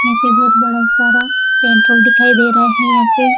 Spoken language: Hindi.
ऐसे बहुत बड़ा सारा पेट्रोल दिखाई दे रहा है यहां पे--